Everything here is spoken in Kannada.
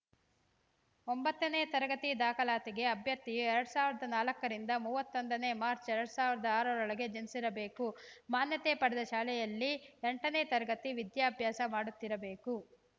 ಒಂಬತ್ತನೇ ತರಗತಿ ದಾಖಲಾತಿಗೆ ಅಭ್ಯರ್ಥಿಯು ಎರಡ್ ಸಾವಿರದ ನಾಲ್ಕರಿಂದ ಮೂವತ್ತೊಂದನೇ ಮಾರ್ಚ್ ಎರಡ್ ಸಾವಿರದ ಆರರೊಳಗೆ ಜನಿಸಿರಬೇಕು ಮಾನ್ಯತೆ ಪಡೆದ ಶಾಲೆಯಲ್ಲಿ ಎಂಟನೇ ತರಗತಿ ವಿದ್ಯಾಭ್ಯಾಸ ಮಾಡುತ್ತಿರಬೇಕು